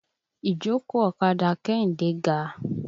Ìjókòó ọ̀kadà Kẹ́hìndé ga.